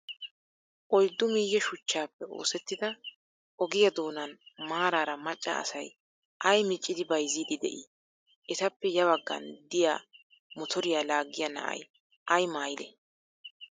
Oyddu miye shuchchappe oosettida ogiyaa doonan maaraara macca asay ayi miccidi bayizziiddi de''ii? Etappe ya baggan diyaa motoriyaa laggiya nayi ayi maayyidee?